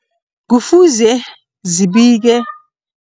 Kufuze zibike